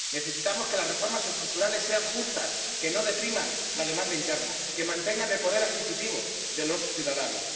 Necesitamos que las reformas estructurales sean justas, que no depriman la demanda interna, que mantengan el poder adquisitivo de los ciudadanos.